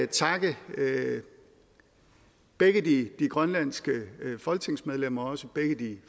takke begge de grønlandske folketingsmedlemmer og også begge de